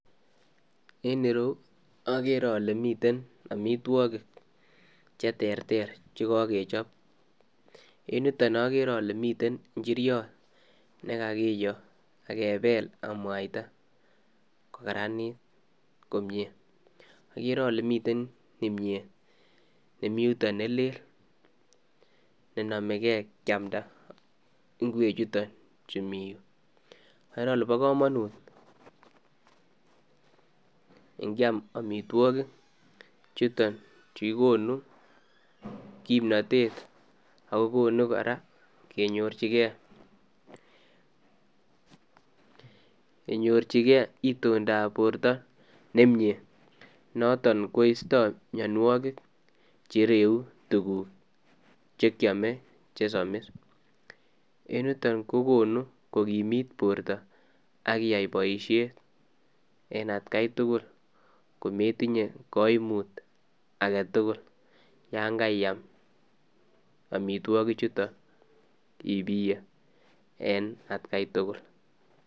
En ireyuu agere kole miten amitwagiik che terter chekakechaap en yutoon agere ale miten injiriat nekakiyoo akebel ak mwaitaa ko karanit komyei, agere ale miten kimyeet ,nemii yutoon ne lele ne namegei kiamda ingwekjuu chutoo chu Mii Yuu agere ale bo kamanut ingiam amitwagiik chutoon chukikonui kipnatet ago konuu kora kenyoor jii gei itondaa ab bortoo nemiten noton koista mianwagik che ireyuu tuguuk che kyame che samis en yutoon ko konuu ko kimiit borto akiyai boisiet en at gai tugul kometinyei kaimuut age tugul yaan kaiyaam amitwagiik chutoon ibiyee en at gai tugul.